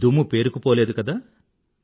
దుమ్ము పేరుకుపోలేదు కదా